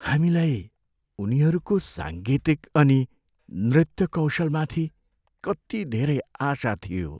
हामीलाई उनीहरूको साङ्गीतिक अनि नृत्य कौशलमाथि कति धेरै आशा थियो।